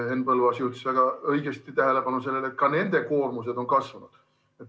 Henn Põlluaas juhtis väga õigesti tähelepanu sellele, et ka nende koormus on kasvanud.